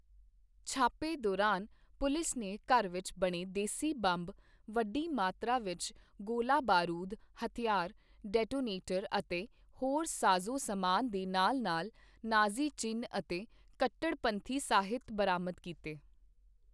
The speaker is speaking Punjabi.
ਛਾਪੇ ਦੌਰਾਨ ਪੁਲਿਸ ਨੇ ਘਰ ਵਿੱਚ ਬਣੇ ਦੇਸੀ ਬੰਬ, ਵੱਡੀ ਮਾਤਰਾ ਵਿੱਚ ਗੋਲਾ ਬਾਰੂਦ, ਹਥਿਆਰ, ਡੈਟੋਨੇਟਰ ਅਤੇ ਹੋਰ ਸਾਜ਼ੋ ਸਮਾਨ ਦੇ ਨਾਲ ਨਾਲ ਨਾਜ਼ੀ ਚਿੰਨ੍ਹ ਅਤੇ ਕੱਟੜਪੰਥੀ ਸਾਹਿਤ ਬਰਾਮਦ ਕੀਤੇ।